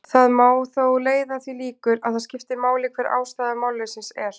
Það má þó leiða að því líkur að það skipti máli hver ástæða málleysisins er.